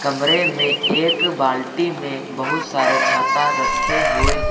कमरे में एक बाल्टी में बहुत सारे छाता रखे हुए--